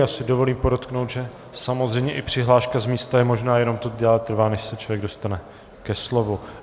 Já si dovolím podotknout, že samozřejmě i přihláška z místa je možná, jenom to déle trvá, než se člověk dostane ke slovu.